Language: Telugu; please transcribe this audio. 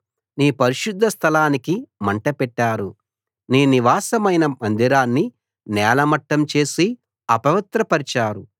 నీ పరిశుద్ధ స్థలానికి మంట పెట్టారు నీ నివాసమైన మందిరాన్ని నేలమట్టం చేసి అపవిత్రపరిచారు